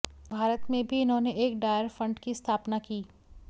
भारत में भी इन्होंने एक डायर फंड की स्थापना की